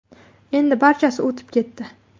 Endi barchasi o‘tib ketdi.